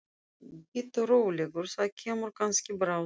Bíddu rólegur. það kemur kannski bráðum.